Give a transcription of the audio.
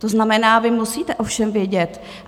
To znamená, vy musíte o všem vědět.